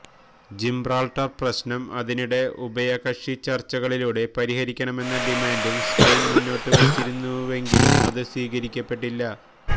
Gibraltar പ്രശ്നം ഇതിനിടെ ഉഭയകക്ഷി ചര്ച്ചകളിലൂടെ പരിഹരിക്കണമെന്ന ഡിമാന്റും സ്പെയിന് മുന്നോട്ട് വച്ചിരുന്നുവെങ്കിലും അത് സ്വീകരിക്കപ്പെട്ടില്ല